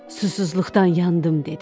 Susuzluqdan yandım dedi.